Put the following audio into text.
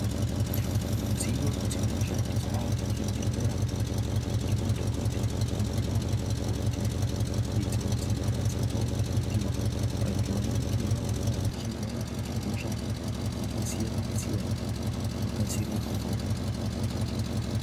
Midziyo dzinoshandiswa kuzvibhedhera ngemadhokodheya pamwe nanamukoti idzo dzinobatsirawo kuti vantu vanenge vauyawo vechirwara ngehosha dzakasiyana siyana vakasire kupora.